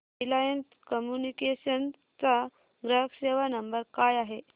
Reliance Communications चा ग्राहक सेवा नंबर काय आहे